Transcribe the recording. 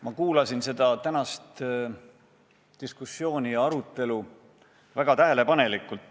Ma kuulasin seda tänast diskussiooni väga tähelepanelikult.